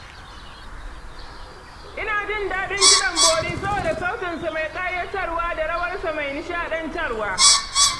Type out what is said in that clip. Ina jin daɗin kiɗan bori saboda sautinsa mai ƙayatarwa da rawarsa mai nishaɗantar wa.